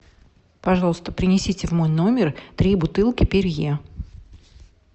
пожалуйста принесите в мой номер три бутылки перье